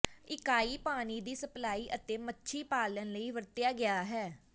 ਇਕਾਈ ਪਾਣੀ ਦੀ ਸਪਲਾਈ ਅਤੇ ਮੱਛੀ ਪਾਲਣ ਲਈ ਵਰਤਿਆ ਗਿਆ ਹੈ